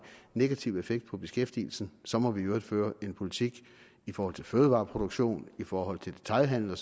negativ effekt på beskæftigelsen så må vi i øvrigt føre en politik i forhold til fødevareproduktion i forhold til detailhandel